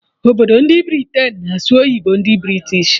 Obodo ndị Britain na-asụ oyibo ndị British